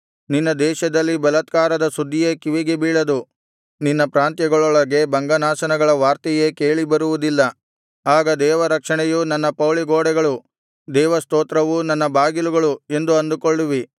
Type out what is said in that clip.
ನಿನ್ನ ದೇಶದಲ್ಲಿ ಬಲಾತ್ಕಾರದ ಸುದ್ದಿಯೇ ಕಿವಿಗೆ ಬೀಳದು ನಿನ್ನ ಪ್ರಾಂತ್ಯಗಳೊಳಗೆ ಭಂಗನಾಶನಗಳ ವಾರ್ತೆಯೇ ಕೇಳಿಬರುವುದಿಲ್ಲ ಆಗ ದೇವರಕ್ಷಣೆಯು ನನ್ನ ಪೌಳಿಗೋಡೆಗಳು ದೇವಸ್ತೋತ್ರವು ನನ್ನ ಬಾಗಿಲುಗಳು ಎಂದು ಅಂದುಕೊಳ್ಳುವಿ